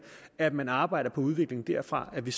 at man arbejder på udviklingen derfra og at vi